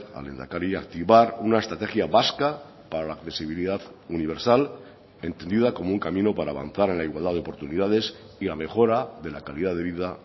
al lehendakari activar una estrategia vasca para la accesibilidad universal entendida como un camino para avanzar en la igualdad de oportunidades y la mejora de la calidad de vida